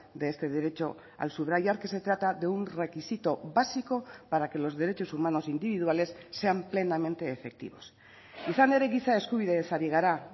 de este derecho al subrayar que se trata de un requisito básico para que los derechos humanos individuales sean plenamente efectivos izan ere giza eskubideez ari gara